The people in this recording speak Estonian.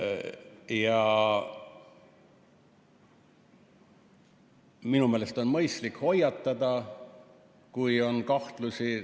Ja minu meelest on mõistlik hoiatada, kui on kahtlusi.